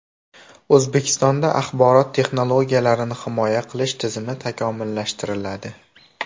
O‘zbekistonda axborot texnologiyalarini himoya qilish tizimi takomillashtiriladi.